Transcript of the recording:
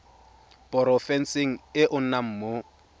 porofenseng e o nnang mo